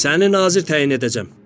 Səni nazir təyin edəcəm.